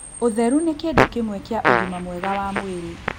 ũtheru nĩ kĩndũ kĩmwe kĩa ũgima mwega wa mwĩrĩ